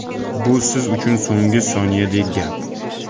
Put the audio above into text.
Bu siz uchun so‘nggi soniyadek gap.